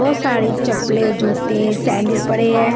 बहोत सारी चपले जुटे सेंडिल पड़े है।